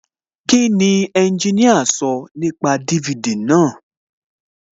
Kíni ẹnjiníà sọ nípa DVD náà?